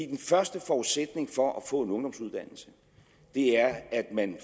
den første forudsætning for at få en ungdomsuddannelse er at man